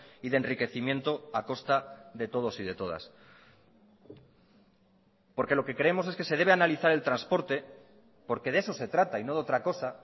y de enriquecimiento a costa de todos y de todas porque lo que creemos es que se debe analizar el transporte porque de eso se trata y no de otra cosa